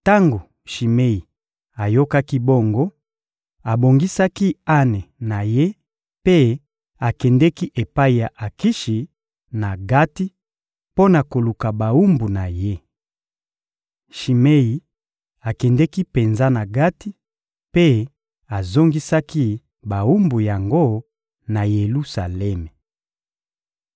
Tango Shimei ayokaki bongo, abongisaki ane na ye mpe akendeki epai ya Akishi, na Gati, mpo na koluka bawumbu na ye. Shimei akendeki penza na Gati mpe azongisaki bawumbu yango na Yelusalemi.